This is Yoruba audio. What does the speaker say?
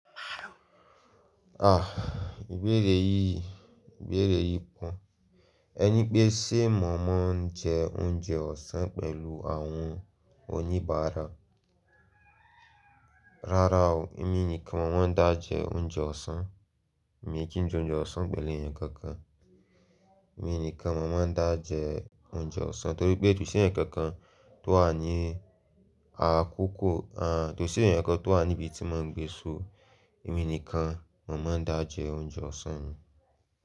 Ah! Ìbéèrè yìí, ìbéèrè yìí pọ. Ẹni pé ṣe mọ̀mọ́ ń jẹ oúnjẹ ọ̀sán pẹ̀lú àwọn oníbàárà. Rárá o, èmi nìkan maa dà jẹ oúnjẹ ọ̀sán. Èmi kì í jẹ oúnjẹ ọ̀sán pẹ̀lú ẹ̀yàn kankan. Èmi nìkan mọ̀mọ́ ń dà jẹ oúnjẹ ọ̀sán torí pé, kosí ẹ̀yàn kankan tó wà ní àkókò, àń, kosí ẹ̀yàn kankan tó wà níbi tí mò ń gbé so, èmi nìkan mọ̀mọ́ ń dà jẹ oúnjẹ ọ̀sán mi.